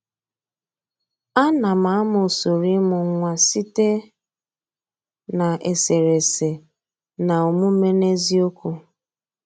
Anam amụ usoro imụ nwa site na eserese na omume n’eziokwu.